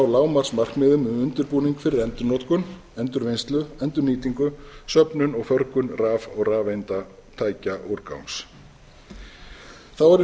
ná lágmarksmarkmiðum um undirbúning fyrir endurnotkun endurvinnslu endurnýtingu söfnun og förgun raf og rafeindatækjaúrgangs þá er í